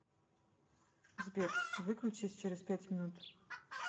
сбер выключись через пять минут